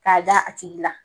K'a da a tigi la.